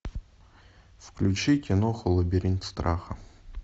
включи киноху лабиринт страха